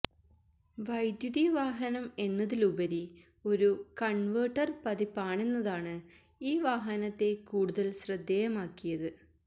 വൈദ്യുതി വാഹനം എന്നതിലുപരി ഒരു കണ്വെര്ട്ടര് പതിപ്പാണെന്നതാണ് ഈ വാഹനത്തെ കൂടുതല് ശ്രദ്ധേയമാക്കിയത്